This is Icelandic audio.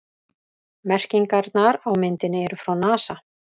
Merkingarnar á myndinni eru frá NASA.